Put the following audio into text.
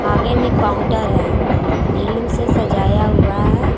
आगे में काउंटर है बैलून से सजाया हुआ है।